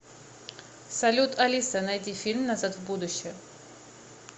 салют алиса найди фильм назад в будущее